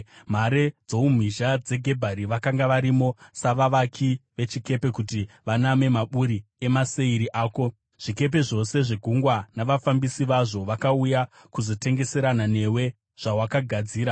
Mhare dzoumhizha dzeGebhari vakanga varimo, savavaki vechikepe kuti vaname maburi emaseiri ako. Zvikepe zvose zvegungwa navafambisi vazvo vakauya kuzotengeserana newe zvawakagadzira.